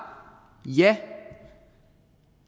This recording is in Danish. ja